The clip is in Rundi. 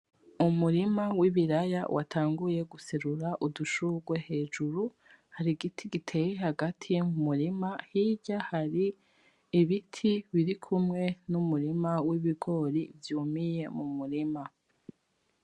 Umurima w'ibiraya watanguye guserura udushurwe hejuru, hari igiti giteye hagati mu murima hirya hari ibiti biri kumwe n'umurima w'ibigori vyumiye mu murima.